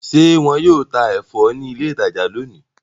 Ṣe wọn yóò tá ẹfọ ni ilé ìtajà lóni?